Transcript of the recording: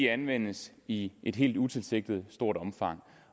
anvendes i et helt utilsigtet stort omfang